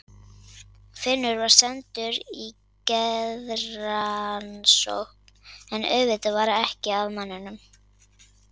Finnur var sendur í geðrannsókn, en auðvitað var ekkert að manninum.